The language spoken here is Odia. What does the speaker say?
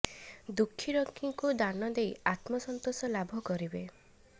ଦୁଃଖୀ ରଙ୍କୀଙ୍କୁ ଦାନ ଦେଇ ଆତ୍ମ ସନ୍ତୋଷ ଲାଭ କରିବେ